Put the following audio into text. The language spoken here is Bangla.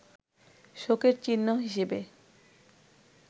শোকের চিহ্ন হিসেবে